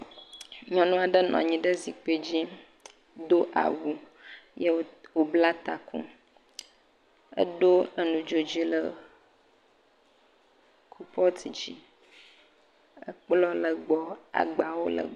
Nyɔnu aɖe nɔ anyi ɖe zikpui dzi. do awu ye wobla taku. Eɖo nu dzo dzi le coalpot dzi. Ekplɔ̃ le egbɔ agbawo le egbɔ.